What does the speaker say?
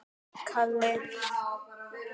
Þeir elskuðu mig.